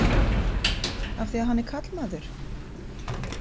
Af því að hann er karlmaður?